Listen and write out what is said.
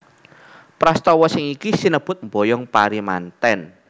Prastawa sing iki sinebut mboyong pari mantèn